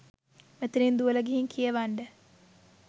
මෙතනින් දුවලා ගිහින් කියවන්ඩ.